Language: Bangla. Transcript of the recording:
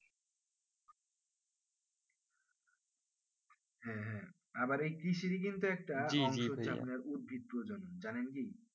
আবার এই কৃষি অংশ রয়েছে উদ্ভিত প্রজন্ম জানেন কি